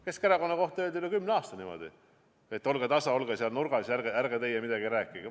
Keskerakonna kohta öeldi üle kümne aasta niimoodi, et olge tasa, olge seal nurgas ja ärge teie midagi rääkige.